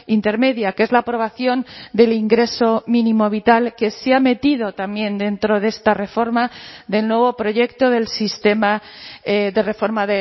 intermedia que es la aprobación del ingreso mínimo vital que se ha metido también dentro de esta reforma del nuevo proyecto del sistema de reforma